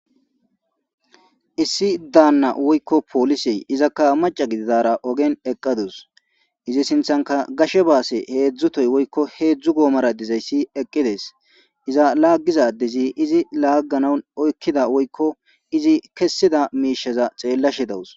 issi daanna woykko poolisey izakka maca gididara ogen eqqadus izi sinthanka gashe baase heedzdzu toy woykko heedzdzu goomara dizayssi eqqides iza laaggiza adezi izi laagganawun oykkida woykko izi kessida miishaza xeellashe dawus